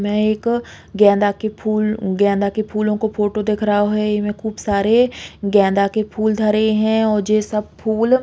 में एक गेंदा के फूल गेंदा के फूलो को फोटो दिख रहो है इमे खूब सारे गेंदा के फूल धरे हैं और जे सब फूल --